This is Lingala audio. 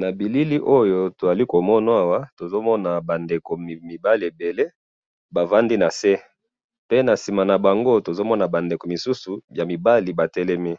na bilili oyo tozali komona awa, tozomana ba ndeko mibale ebele bavandi nase, pe nasima na bango tozomona ba ndeko misusu ya mibali batelemi,